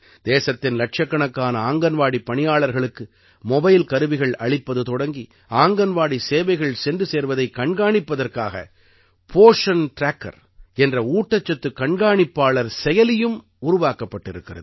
தேசத்தின் இலட்சக்கணக்கான ஆங்கன்வாடிப் பணியாளர்களுக்கு மொபைல் கருவிகள் அளிப்பது தொடங்கி ஆங்கன்வாடி சேவைகள் சென்று சேர்வதை கண்காணிப்பதற்காக போஷன் ட்ராக்கர் என்ற ஊட்டச்சத்து கண்காணிப்பாளர் செயலியும் உருவாக்கப்பட்டிருக்கிறது